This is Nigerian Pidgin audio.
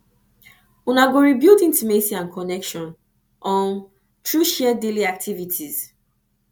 una go rebuild intimacy and connection um through share daily activities